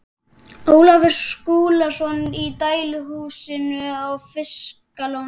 Ólafur Skúlason í dæluhúsinu á Fiskalóni.